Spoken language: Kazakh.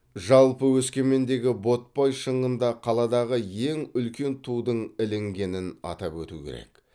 жалпы өскемендегі ботпай шыңында қаладағы ең үлкен тудың ілінгенін атап өту керек